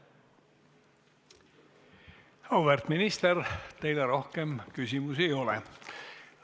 Auväärt minister, teile rohkem küsimusi ei ole.